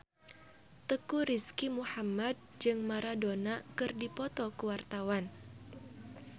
Teuku Rizky Muhammad jeung Maradona keur dipoto ku wartawan